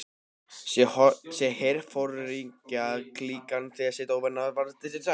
Sá herforingjaklíkan því sitt óvænna og varð fyrri til, sagði